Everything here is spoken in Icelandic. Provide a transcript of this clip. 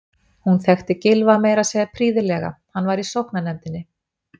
Hún þekkti Gylfa meira að segja prýðilega, hann var í sóknarnefndinni.